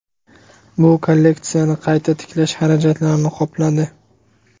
Bu kolleksiyani qayta tiklash xarajatlarini qopladi.